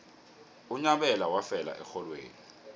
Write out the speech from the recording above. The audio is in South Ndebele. unyabela wafela erholweni